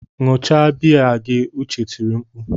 Ṅụọ cha biya gị! Uche tiri mkpu.